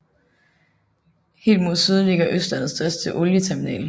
Helt mod syd ligger Østlandets største olieterminal